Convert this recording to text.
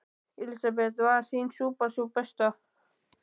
Elísabet: Var þín súpa sú besta?